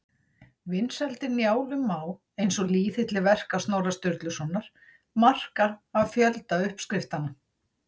Vinsældir Njálu má, eins og lýðhylli verka Snorra Sturlusonar, marka af fjölda uppskriftanna.